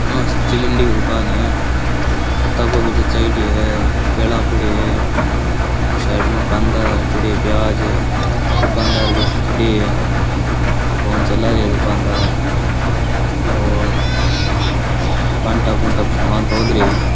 आं सब्जी मंडी की दुकान है पत्ता गोभी जचाएडी है केला पड़या है उन्नेे साईड मै कांदा पड़या प्याज है दुकानदार भी खड़या है फोन चला रया है दुकानदार और कांटा कुंटा पे सामान तौल रिया है।